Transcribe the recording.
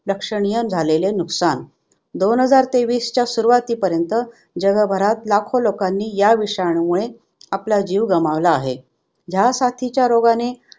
लक्षणीय झालेले नुकसान. दोन हजार तेवीसच्या सुरुवातीपर्यंत जगभरात लाखों लोकांनी ह्या विषाणूमुळे आपला जीव गमावला आहे. ह्या साथीच्या रोगाने